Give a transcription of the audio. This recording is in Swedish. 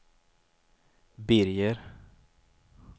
Birger